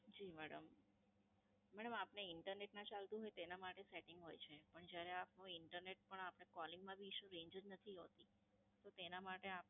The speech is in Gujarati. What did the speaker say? જી મેડમ. મેડમ આપને Internet ના ચાલતું હોય, તો તેના માટે Setting હોય છે. પણ જયારે આપનું Internet પણ Calling માં પણ Issue, Range જ નથી હોતી, તો તેના માટે